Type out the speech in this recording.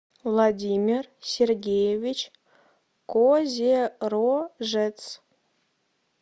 владимир сергеевич козерожец